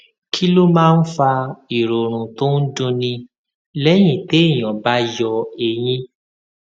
kí ló máa ń fa ìròrùn tó ń dunni léyìn téèyàn bá yọ eyín